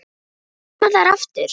Koma þær aftur?